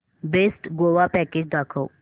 best Goa package दाखव